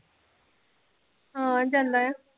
ਹਾਂ ਜਾਂਦਾ ਆ।